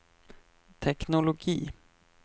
teknologi